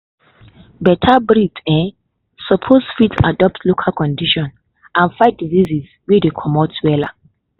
better breed um suppose fit adapt to local condition and fight disease wey dey commot wella.